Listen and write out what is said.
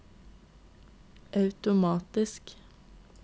automatisk